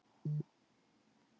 Hann tók ákvörðun í skyndi.